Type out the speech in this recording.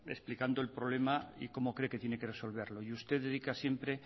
explicando el problema y cómo cree que tiene que resolverlo y usted dedica siempre